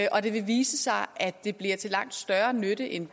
og det vil vise sig at det bliver til langt større nytte end